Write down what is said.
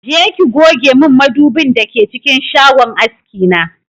Je ki goge min madubin da ke cikin shagon aski na!